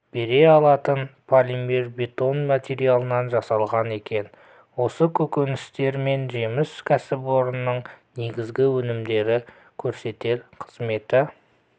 бере алатын полимербетон материалынан жасалған екен осы көкөністер мен жеміс кәсіпорынның негізгі өнімдері көрсетер қызметін